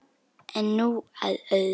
En nú að öðru.